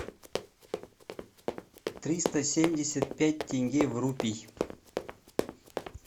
триста семьдесят пять тенге в рупий